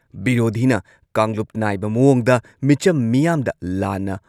ꯚꯤꯔꯣꯙꯤꯅ ꯀꯥꯡꯂꯨꯞ ꯅꯥꯏꯕ ꯃꯑꯣꯡꯗ ꯃꯤꯆꯝ ꯃꯤꯌꯥꯝꯗ ꯂꯥꯟꯅ